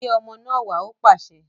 Gbé ọmọ náà wá! Ó pàṣẹ